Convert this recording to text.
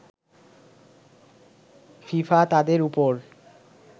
FIFA তাদের ওপর